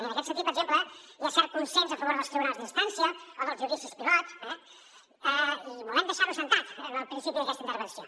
i en aquest sentit per exemple hi ha cert consens a favor dels tribunals d’instància o dels judicis pilot eh i volem deixar ho assentat en el principi d’aquesta intervenció